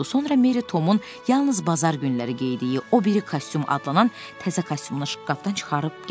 Sonra Merri Tomun yalnız bazar günləri geydiyi o biri kostyum adlanan təzə kostyumunu şkafdan çıxarıb gətirdi.